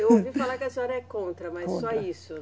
Eu ouvi falar que a senhora é contra, mas só isso?